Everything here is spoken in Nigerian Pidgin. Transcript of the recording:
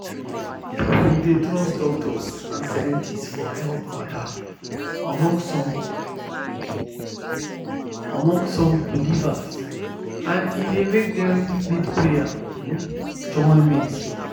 people dey trust doctors and scientists for health matter among some among some believers and e dey make dem need prayer um join medicine.